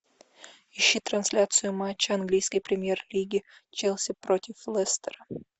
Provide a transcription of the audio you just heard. ищи трансляцию матча английской премьер лиги челси против лестера